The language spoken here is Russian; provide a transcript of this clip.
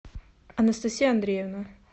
анастасия андреевна